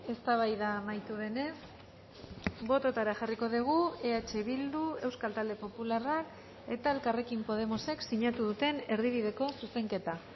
eztabaida amaitu denez bototara jarriko dugu eh bildu euskal talde popularrak eta elkarrekin podemosek sinatu duten erdibideko zuzenketa